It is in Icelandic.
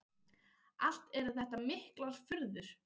Allt eru þetta miklar furður.